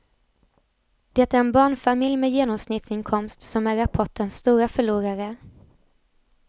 Det är en barnfamilj med genomsnittsinkomst som är rapportens stora förlorare.